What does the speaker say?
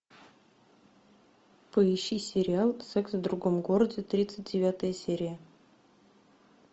поищи сериал секс в другом городе тридцать девятая серия